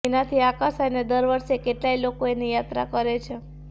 એનાથી આકર્ષાઈને દર વરસે કેટલાય લોકો એની યાત્રા કરે છે